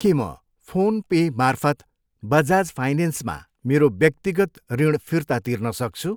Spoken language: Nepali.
के म फोन पेमार्फत बजाज फाइनेन्समा मेरो व्यक्तिगत ऋण फिर्ता तिर्न सक्छु?